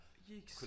Jeeks